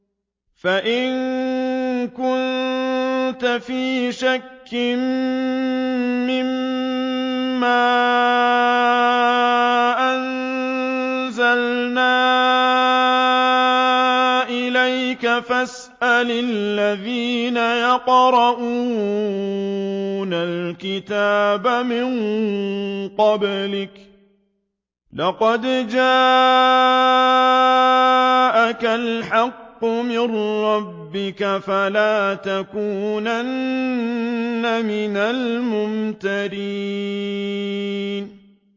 فَإِن كُنتَ فِي شَكٍّ مِّمَّا أَنزَلْنَا إِلَيْكَ فَاسْأَلِ الَّذِينَ يَقْرَءُونَ الْكِتَابَ مِن قَبْلِكَ ۚ لَقَدْ جَاءَكَ الْحَقُّ مِن رَّبِّكَ فَلَا تَكُونَنَّ مِنَ الْمُمْتَرِينَ